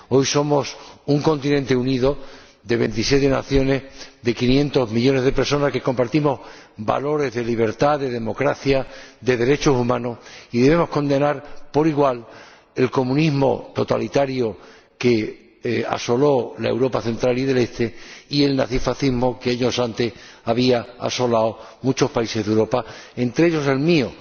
Hoy somos un continente unido, de 27 naciones, de 500 millones de personas que compartimos valores de libertad, de democracia, de derechos humanos, y debemos condenar por igual el comunismo totalitario que asoló la Europa Central y del Este y el nazifascismo que años antes había asolado muchos países de Europa, entre ellos el mío.